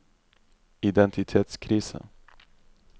identitetskrise